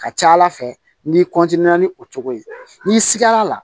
Ka ca ala fɛ n'i ni o cogo ye n'i sigara la